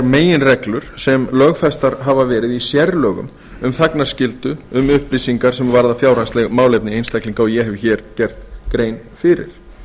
meginreglur sem lögfestar hafa verið í sérlögum um þagnarskyldu um upplýsingar sem varða fjárhagsleg málefni einstaklinga og ég hef hér gert grein fyrir